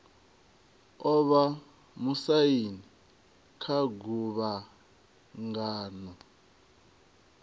o vha musaini kha guvhangano